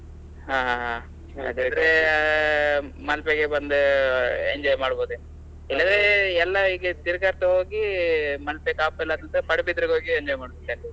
ಹಾ ಹಾಗಾದ್ರೆ Malpe ಗೆ ಬಂದು enjoy ಮಾಡ್ಬೋದೇನು, ಇಲ್ಲದ್ರೆ ಎಲ್ಲಾ ಹೀಗೆ ತಿರ್ಗಾಡ್ತಾ ಹೋಗಿ Malpe, Kapu ಎಲ್ಲ ಮತ್ತೆ Padubidri ಗೆ ಹೋಗಿ enjoy ಮಾಡ್ಬೇಕಾಗ್ತದೆ.